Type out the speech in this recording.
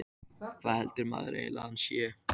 Hvað heldur maðurinn eiginlega að hann sé?